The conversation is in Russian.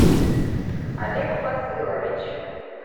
олег фазылович